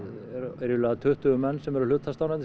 ríflega tuttugu menn sem eru hlutastarfandi